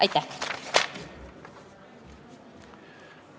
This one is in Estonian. Aitäh!